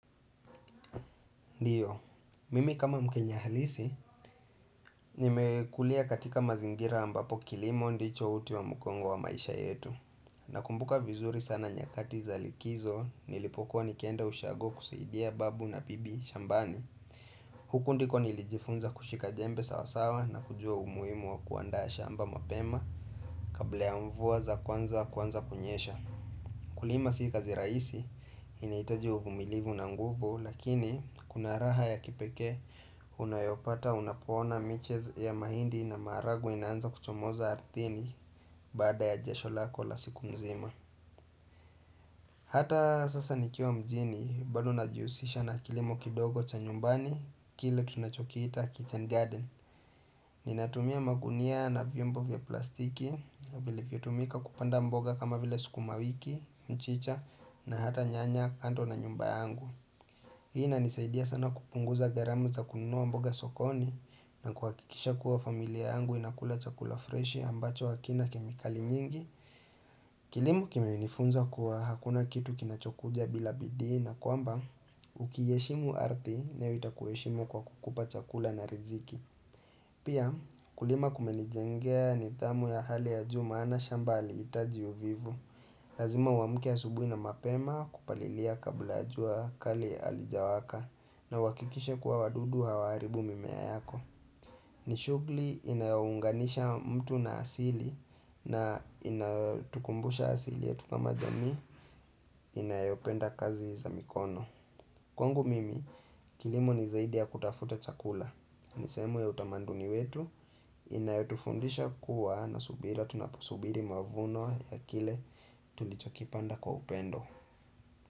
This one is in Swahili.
Ndio, mimi kama mkenya halisi, nimekulia katika mazingira ambapo kilimo ndicho uti wa mgongo wa maisha yetu. Nakumbuka vizuri sana nyakati za likizo, nilipokuwa nikienda ushago kusaidia babu na bibi shambani. Huku ndiko nilijifunza kushika jembe sawasawa na kujua umuhimu wa kuandaa shamba mapema kabla ya mvua za kwanza kuanza kunyesha. Kulima si kazi rahisi inahitaji uvumilivu na nguvu lakini kuna raha ya kipekee unayopata unapoona miche ya mahindi na maharagwe inanza kuchomoza ardhini baada ya jasho lako la siku mzima Hata sasa nikiwa mjini bado najiusisha na kilimo kidogo cha nyumbani kile tunacho kiita kitchen garden Ninatumia magunia na vyombo vya plastiki, vilivyotumika kupanda mboga kama vile sukuma wiki, mchicha na hata nyanya kando na nyumba yangu Hii inanisaidia sana kupunguza gharama za kununua mboga sokoni na kwa kuhakikisha kuwa familia yangu inakula chakula freshi ambacho hakina kemikali nyingi Kilimo kimenifunza kuwa hakuna kitu kinachokuja bila bidii na kwamba ukiiheshimu ardhi nayo itakuheshimu kwa kukupa chakula na riziki Pia kulima kumenijengea nidhamu ya hali ya juu maana shamba halihitaji uvivu. Lazima uamke asubuhi na mapema kupalilia kabla ya jua kali halijawaka na uhakikishe kua wadudu hawaharibu mimea yako. Ni shugli inaunganisha mtu na asili na inatukumbusha asili yetu kama jamii inayopenda kazi za mikono. Kwangu mimi, kilimo ni zaidi ya kutafuta chakula. Ni sehemu ya utamanduni wetu inayotufundisha kua na subira tunaposubiri mavuno ya kile tulichokipanda kwa upendo.